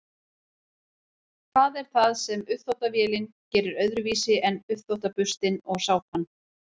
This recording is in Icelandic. hvað er það sem uppþvottavélin gerir öðruvísi en uppþvottaburstinn og sápan